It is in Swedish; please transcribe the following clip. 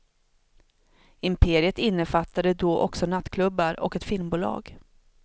Imperiet innefattade då också nattklubbar och ett filmbolag.